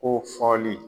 Ko fɔli